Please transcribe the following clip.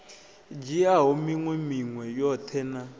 dzhiaho minwe minwe yoṱhe na